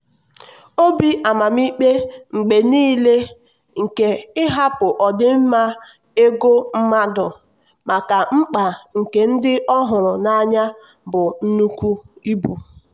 obi amamikpe mgbe nile nke ịhapụ ọdịmma ego mmadụ maka mkpa nke ndị ọ hụrụ n'anya bụ nnukwu ibu.